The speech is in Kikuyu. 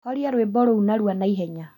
Horia rwĩmbo rũu narua na ihenya